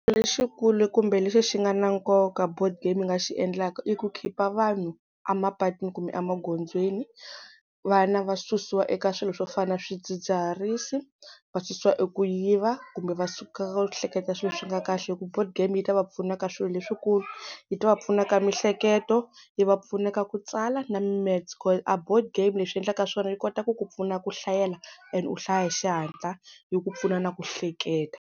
Lexikulu kumbe lexi xi nga na nkoka board game yi nga xi endlaka, i ku khipa vanhu a mapatwini kumbe emagondzweni. Vana va susiwa eka swilo swo fana na swidzidziharisi, va susiwa eku yiva kumbe va suka ka ku hleketa swilo swo ka swi nga ri kahle. Hi ku board game yi ta va pfuna ka swilo leswikulu, yi ta va pfuna ka miehleketo, yi va pfuna ka ku tsala na mimetse, a board game leswi yi endlaka swona yi kota ku ku pfuna ku hlayela and u hlaya hi xihatla yi ku pfuna na ku hleketa.